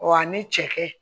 Wa ni cɛkɛ